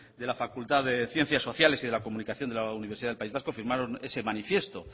de la facultad de ciencias sociales y de la comunicación del universidad del país vasco firmaron ese manifiesto